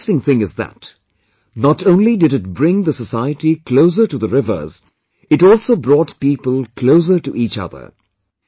And the interesting thing is that, not only did it bring the society closer to the rivers, it also brought people closer to each other